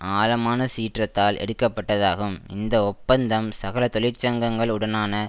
ஆழமான சீற்றத்தால் எடுக்க பட்டதாகும் இந்த ஒப்பந்தம் சகல தொழிற்சங்கங்கள் உடனான